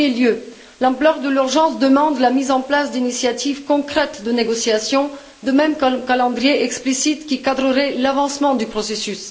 en premier lieu, l'ampleur de l'urgence demande la mise en place d'initiatives concrètes de négociation, de même qu'un calendrier explicite qui guiderait l'avancement du processus.